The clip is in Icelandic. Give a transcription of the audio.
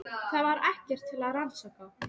Það var ekkert til að rannsaka.